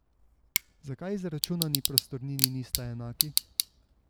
Zakaj izračunani prostornini nista enaki?